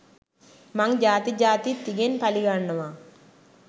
මං ජාති ජාතිත් තිගෙන් පළිගන්නවා.